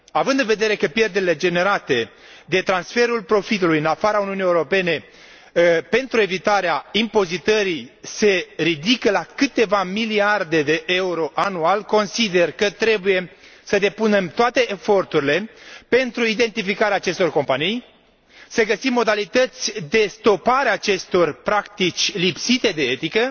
Având în vedere că pierderile generate de transferul profitului în afara Uniunii Europene pentru evitarea impozitării se ridică la câteva miliarde de euro anual, consider că trebuie să depunem toate eforturile pentru identificarea acestor companii, să găsim modalități de stopare a acestor practici lipsite de etică